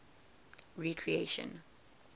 recreation